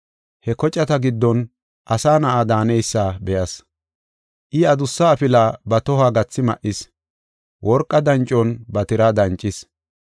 He kocata giddon asa na7a daaneysa be7as. I adussa afila ba tohuwa gathi ma7is, worqa dancon ba tiraa dancis.